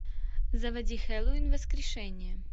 заводи хэллоуин воскрешение